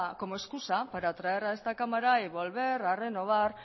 como excusa para traer a esta cámara y volver a renovar